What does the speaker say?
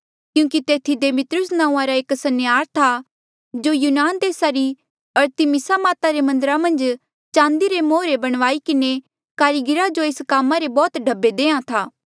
क्यूंकि तेथी दिमेत्रियुस नांऊँआं रा एक सन्यार था जो यूनान देसा री अरतिमिसा माता रे मन्दरा मन्झ चांदी रे मोहरे बणवाई किन्हें कारीगरा जो एस कामा रे बौह्त ढब्बे देयां था